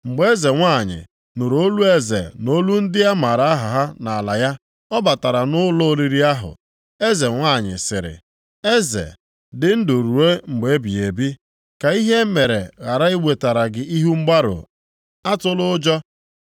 Mgbe eze nwanyị, nụrụ olu eze na olu ndị a mara aha ha nʼala ya, ọ batara nʼụlọ oriri ahụ. Eze nwanyị sịrị, “Eze, dị ndụ ruo mgbe ebighị ebi; ka ihe a mere ghara iwetara gị ihu mgbarụ, atụla ụjọ.